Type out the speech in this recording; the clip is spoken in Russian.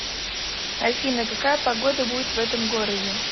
афина какая погода будет в этом городе